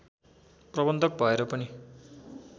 प्रबन्धक भएर पनि